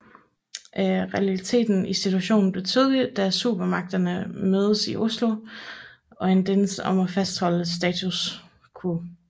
Realiteten i situationen blev tydelig da supermagterne mødtes i Oslo og enedes om at fastholde status quo